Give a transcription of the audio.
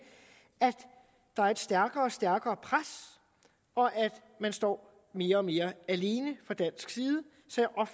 at der er et stærkere og stærkere pres og at man står mere og mere alene fra dansk side så